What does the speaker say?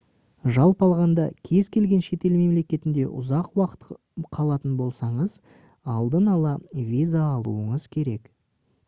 жалпы алғанда кез келген шетел мемлекетінде ұзақ уақыт қалатын болсаңыз алдын ала виза алуыңыз керек